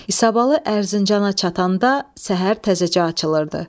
İsabalı Ərzincana çatanda səhər təzəcə açılırdı.